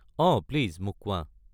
অঁ, প্লিজ মোক কোৱা।